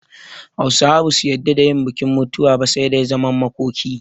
Hausawa ba su yadda da yin bikin mutuwa ba, sai dai zaman makoki